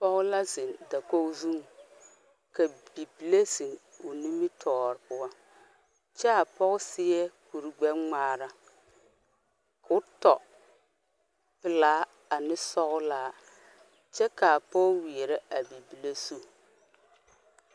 Pɔgɔ la zeng dakogo zung ka bibile zeng ɔ nimitoɔre puo kyaa poɔ seɛ kuri gbe ngmaara kuo tɔ pelaa ane sɔglaa kye kaa poɔ weɛrɛ a bibile zu.